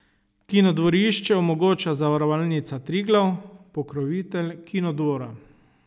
Kinodvorišče omogoča Zavarovalnica Triglav, pokrovitelj Kinodvora.